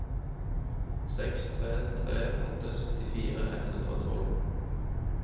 seks tre tre åtte syttifire ett hundre og tolv